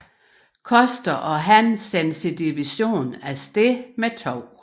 Custer og han sendte sin division afsted med 2